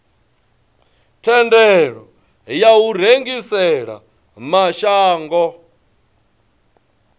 thendelo ya u rengisela mashango